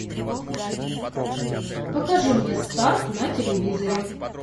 покажи мне старт на телевизоре